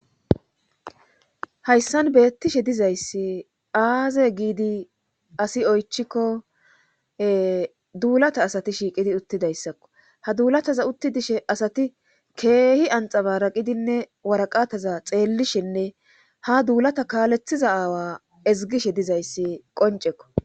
Haysan betishe dizaysi azze gidi asay oychiko dulata shiqidi asati uttidaysako asati kehi anxabaraqidine waraqata xelishine ha dulata kalethishe diza aawa xelishe dizaysi qonceko